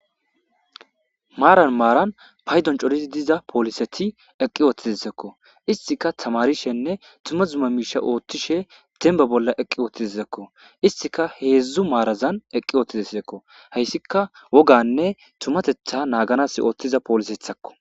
maaran maaran paydon corizi diza pooliseti eqqi oottizizekko istika tamarishenne tuma tuma miisha ooththishe denba bolla eqqi oottizekko istika heedzdzu maarazan eqqi oottizeseekko hayssika woganne tumatetha naaganas ooththiza poolisethakko